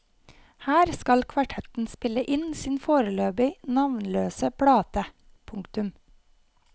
Her skal kvartetten spille inn sin foreløpig navnløse plate. punktum